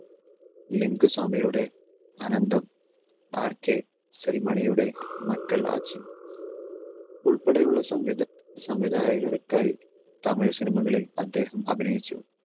ലിംഗ സ്വാമിയുടെ അനന്തം, RK സെൽമണിയുടെ മക്കളാച്ചി ഉൾപ്പെടെയുള്ള സംവിധാ~സംവിധായകർക്കായി തമിഴ് സിനിമകളിൽ അദ്ദേഹം അഭിനയിച്ചു.